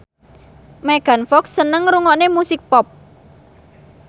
Megan Fox seneng ngrungokne musik pop